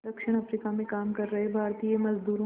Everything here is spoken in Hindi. दक्षिण अफ्रीका में काम कर रहे भारतीय मज़दूरों